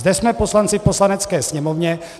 Zde jsme poslanci v Poslanecké sněmovně.